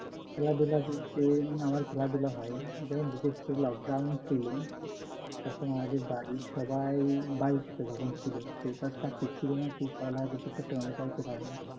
খেলাধুলা বলতে আমার খেলাধুলা হয় যখন বিশেষ করে নকডাউন ছিল তখন আমাদের বাড়ির সবাই বাড়িতে যখন ছিল কেউতো আর চাকরি ছিল না কি করা লাগবে যাইতে পারে না